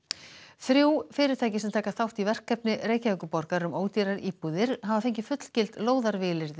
þrjú fyrirtæki sem taka þátt í verkefni Reykjavíkurborgar um ódýrar íbúðir hafa fengið fullgild